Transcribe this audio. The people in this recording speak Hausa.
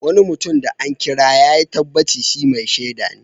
Wani mutum da an kira yayi tabbaci shi " Mai shaida"ne.